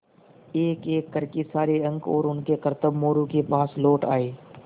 एकएक कर के सारे अंक और उनके करतब मोरू के पास लौट आये